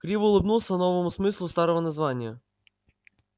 криво улыбнулся новому смыслу старого названия